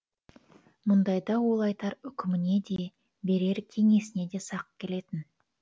мұндайда ол айтар үкіміне де берер кеңесіне де сақ келетін